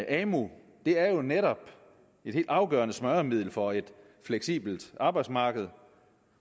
amu er jo netop et helt afgørende smøremiddel for et fleksibelt arbejdsmarked